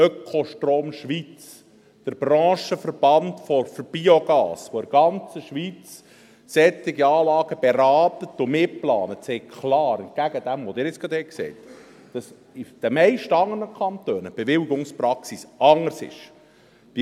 Ökostrom Schweiz, der Branchenverband für Biogas der ganzen Schweiz, der zu solchen Anlagen berät und sie mitplant, sagt klar – entgegen dem, was Sie jetzt gerade gesagt haben –, dass die Bewilligungspraxis in den meisten anderen Kantonen anders sei.